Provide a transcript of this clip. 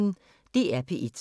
DR P1